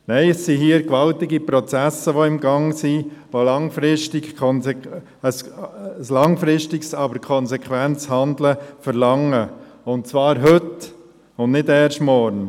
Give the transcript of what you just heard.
Nein, hier sind gewaltige Prozesse im Gang, die ein langfristiges, aber konsequentes Handeln verlangen, und zwar heute und nicht erst morgen.